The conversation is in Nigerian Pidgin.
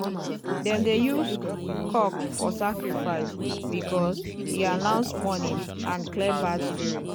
dem dey use cock for sacrifice because e announce morning and clear bad spirit.